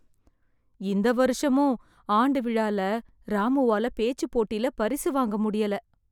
இந்த வருஷமும் ஆண்டு விழால ராமுவால பேச்சு போட்டில பரிசு வாங்க முடியல